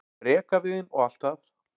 rekaviðinn og allt það.